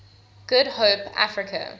good hope africa